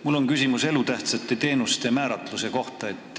Mul on küsimus elutähtsate teenuste määratluse kohta.